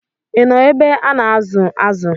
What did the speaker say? Ị nọ ebe a na-azụ̀ azụ̀?